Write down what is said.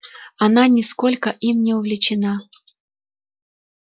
она нисколько им не увлечена